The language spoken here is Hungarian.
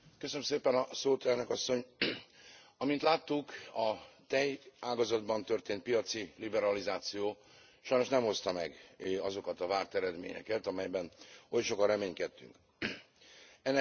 Amint láttuk, a tejágazatban történt piaci liberalizáció sajnos nem hozta meg azokat a várt eredményeket, amelyben oly sokan reménykedtünk. Ennek több oka is van, de kettőt szeretnék kiemelni.